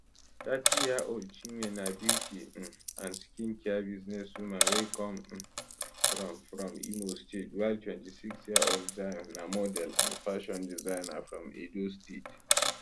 30yearold chinwe na beauty um and skincare businesswoman wey come um from from imo state while 26yearold zion na model and fashion designer from edo state